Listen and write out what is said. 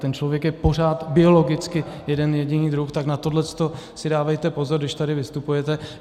Ten člověk je pořád biologicky jeden jediný druh, tak na tohle si dávejte pozor, když tady vystupujete.